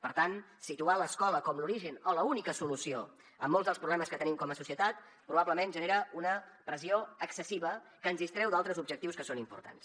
per tant situar l’escola com l’origen o l’única solució a molts dels problemes que tenim com a societat probablement genera una pressió excessiva que ens distreu d’altres objectius que són importants